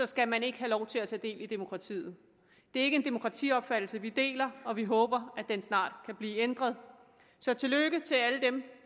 skal man ikke have lov til at tage del i demokratiet det er ikke en demokratiopfattelse vi deler og vi håber at den snart kan blive ændret så tillykke til alle dem